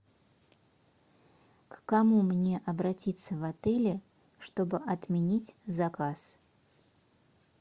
к кому мне обратиться в отеле чтобы отменить заказ